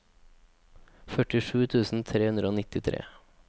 førtisju tusen tre hundre og nittitre